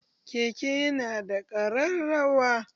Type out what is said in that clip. Keke ya na da ƙararrawa.